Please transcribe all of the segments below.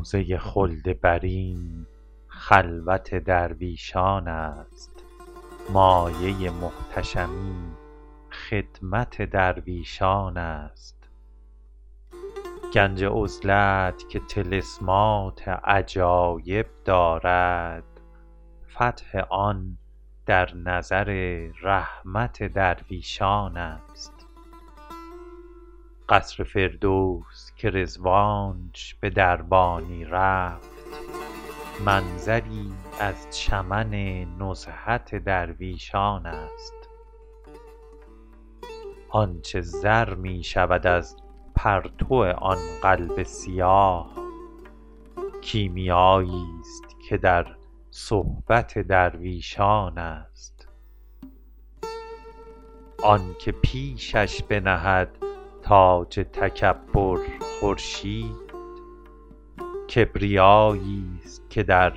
روضه خلد برین خلوت درویشان است مایه محتشمی خدمت درویشان است گنج عزلت که طلسمات عجایب دارد فتح آن در نظر رحمت درویشان است قصر فردوس که رضوانش به دربانی رفت منظری از چمن نزهت درویشان است آن چه زر می شود از پرتو آن قلب سیاه کیمیاییست که در صحبت درویشان است آن که پیشش بنهد تاج تکبر خورشید کبریاییست که در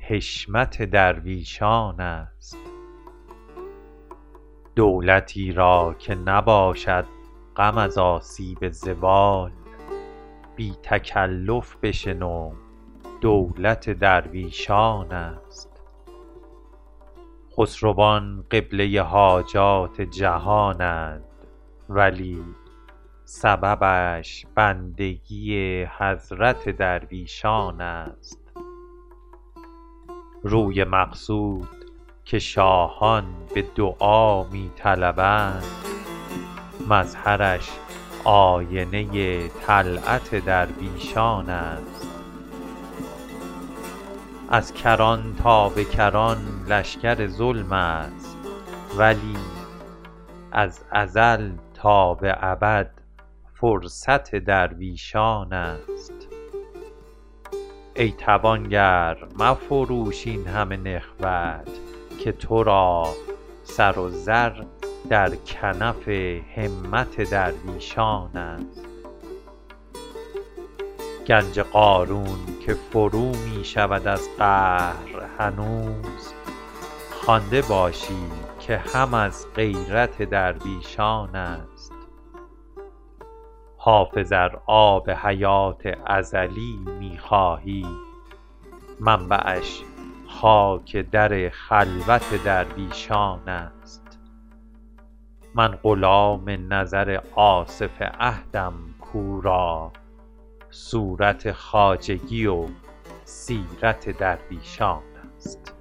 حشمت درویشان است دولتی را که نباشد غم از آسیب زوال بی تکلف بشنو دولت درویشان است خسروان قبله حاجات جهانند ولی سببش بندگی حضرت درویشان است روی مقصود که شاهان به دعا می طلبند مظهرش آینه طلعت درویشان است از کران تا به کران لشکر ظلم است ولی از ازل تا به ابد فرصت درویشان است ای توانگر مفروش این همه نخوت که تو را سر و زر در کنف همت درویشان است گنج قارون که فرو می شود از قهر هنوز خوانده باشی که هم از غیرت درویشان است حافظ ار آب حیات ازلی می خواهی منبعش خاک در خلوت درویشان است من غلام نظر آصف عهدم کو را صورت خواجگی و سیرت درویشان است